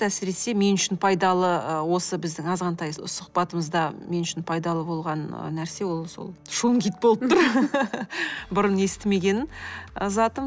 әсіресе мен үшін пайдалы ы осы біздің азғантай сұхбатымызда мен үшін пайдалы болған нәрсе ол сол шунгит болып тұр бұрын естімеген затым